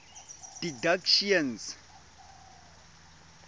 didactician